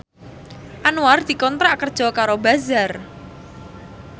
Anwar dikontrak kerja karo Bazaar